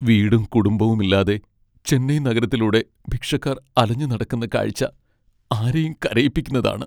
വീടും കുടുംബവും ഇല്ലാതെ ചെന്നൈ നഗരത്തിലൂടെ ഭിക്ഷക്കാർ അലഞ്ഞുനടക്കുന്ന കാഴ്ച്ച ആരെയും കരയിപ്പിക്കുന്നതാണ്.